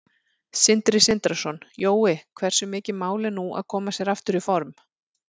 Sindri Sindrason: Jói, hversu mikið mál er nú að koma sér aftur í form?